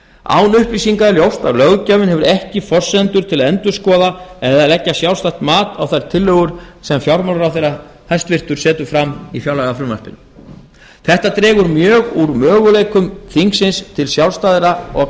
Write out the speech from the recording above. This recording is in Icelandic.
án upplýsinga er ljóst að löggjafinn hefur ekki forsendur til að endurskoða eða leggja sjálfstætt mat á þær tillögur sem fjármálaráðherra hæstvirtur setur fram í fjárlagafrumvarpinu þetta dregur mjög úr möguleikum þingsins til sjálfstæðra og